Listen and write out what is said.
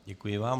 Děkuji vám.